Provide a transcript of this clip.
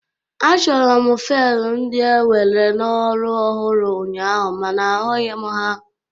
Achọrọ m fail ndị e were n'ọrụ ọhụrụ ụnyaahụ mana ahụghi m ha.